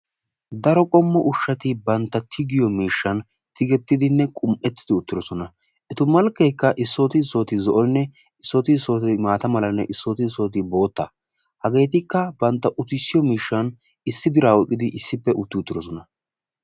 Daro qommo ushshati bantta tigiyo miishshan tiggetidinne qumiiettidi uttidoosona. eta malkkekka issooti issooti zo'onne issoti issooti maata malanne issooti issooti bootta. Hageetikka bantta uttisiyo miishshan issi dira oyqqidi issippe utti uttidoosona.